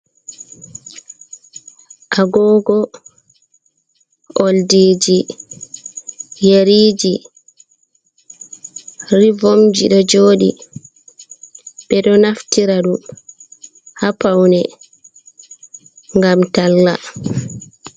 Agogo, oldiji, yeriji, revomji ɗo joɗi, ɓe ɗo naftira ɗum ha paune gam talla.